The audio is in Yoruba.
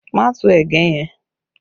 Má tu ẹ̀gẹ́ yẹn!